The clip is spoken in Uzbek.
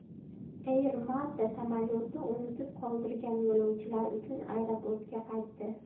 Air Malta samolyoti unutib qoldirgan yo‘lovchilar uchun aeroportga qaytdi.